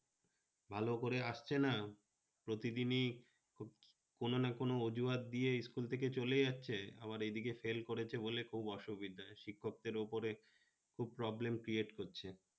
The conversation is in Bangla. ভালো করে আসছে না, প্রতিদিনি কোনো না কোনো অজুহাতে school থেকে চলে যাচ্ছে, আবার এদিকে fail করেছে বলে খুব অসুবিধা শিক্ষকদের উপরে খুব problem creat করছে